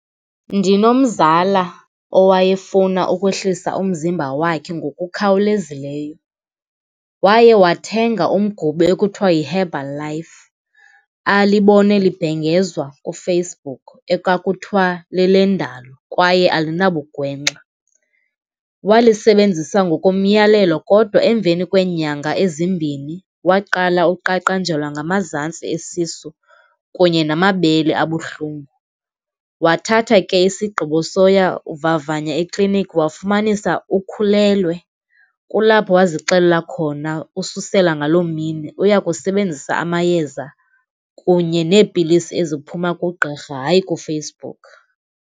Ndinomzala owayefuna ukwehlisa umzimba wakhe ngokukhawulezileyo, waye wathenga umgubo ekuthiwa yiHerbal Life alibone libhengezwa kuFacebook ekwakuthiwa lelendalo kwaye alinabugwengxa. Walisebenzisa ngokomyalelo kodwa emveni kweenyanga ezimbini waqala uqaqanjelwa ngamazantsi esisu kunye namabele abuhlungu. Wathatha ke isigqibo soya kuvavanya ekliniki wafumanisa ukhulelwe. Kulapho wazixelela khona ususela ngaloo mini uya kusebenzisa amayeza kunye neepilisi eziphuma kugqirha hayi kuFacebook.